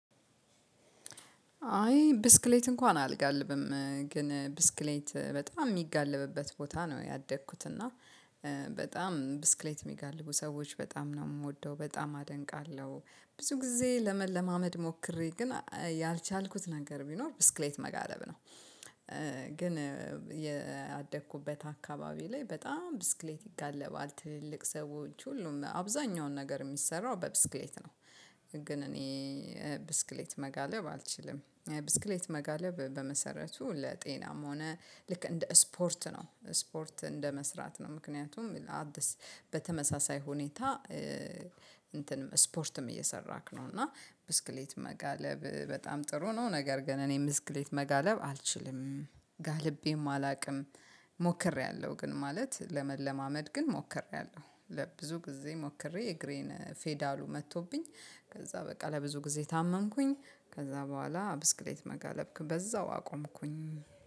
አይ ብስክሌት እንኳን አልጋልብም ግን ብስክሌት በጣም የሚጋለብበት ቦታ ነው ያደግኩት እና በጣም ብስክሌት የሚጋልቡ ሰዎች በጣም ነው የምወደው በጣም አደንቃለሁ። ብዙ ጊዜ ለመለማመድ ሞክሬ ግን ያልቻልኩት ነገር ቢኖር ብስክሌት መጋለብ ነው። ግን ያደኩበት አካባቢ ላይ በጣም ብስክሌት ይጋለባል ትልቅ ሁሉም አብዛኛውን ነገር የሚሰራው በብስክሌት ነው። ግን እኔ ብስክሌት መጋለብ አልችልም። ብስክሌት መጋለብ በመሰረቱ ለጤናም ሆነ ልክ እንደ ስፖርት ነው ስፖርት እንደመስራት ነው። ምክንያቱም በተመሳሳይ ሁኔታ እንትንም ስፖርትም እየሰራክ ነው እና ብስክሌት መጋለብ በጣም ጥሩ ነው። ነገር ግን እኔ ምስክሌት መጋለብ አልችልም ጋልቤም አላውቅም። ሞክሬያለሁ ግን ማለት ለመለማመድ ግን ሞክሬያለሁ ለብዙ ጊዜ ሞክሬ እግሬን ፌዳሉ መጥቶብኝ ከዛ በቃ ለብዙ ጊዜ ታመምኩኝ። ከዛ በኋላ ብስክሌት መጋለብክ በዛው አቆምኩኝ